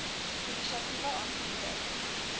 inisiatiewe aangemoedig